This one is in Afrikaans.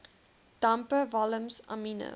dampe walms amiene